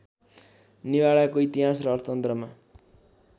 निभाडाको इतिहास र अर्थतन्त्रमा